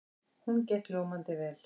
Hún gekk ljómandi vel.